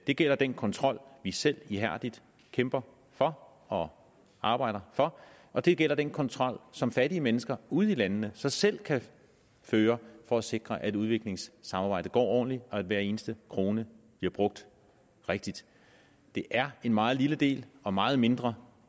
det gælder den kontrol vi selv ihærdigt kæmper for og arbejder for og det gælder den kontrol som fattige mennesker ude i landene så selv kan føre for at sikre at udviklingssamarbejdet går ordentligt og at hver eneste krone bliver brugt rigtigt det er en meget lille del og meget mindre